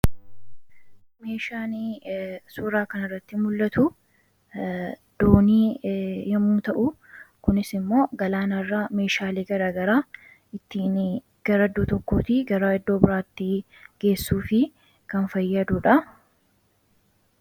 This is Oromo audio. Meeshaan suuraa kana irratti mul'atu doonii yoommuu ta'u kunis immoo galaanarra meeshaalee gara garaa ittiin gara tokkootii gara iddoo biraattii geessuuf kan fayyaduudha.